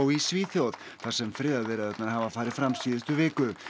í Svíþjóð þar sem viðræðurnar hafa farið fram síðustu viku